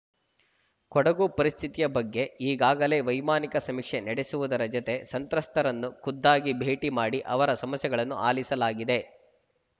ಕೊಡಗು ಪರಿಸ್ಥಿತಿಯ ಬಗ್ಗೆ ಈಗಾಗಲೇ ವೈಮಾನಿಕ ಸಮೀಕ್ಷೆ ನಡೆಸುವುದರ ಜತೆ ಸಂತ್ರಸ್ತರನ್ನು ಖುದ್ದಾಗಿ ಭೇಟಿ ಮಾಡಿ ಅವರ ಸಮಸ್ಯೆಗಳನ್ನು ಆಲಿಸಲಾಗಿದೆ